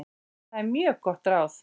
Það er mjög gott ráð.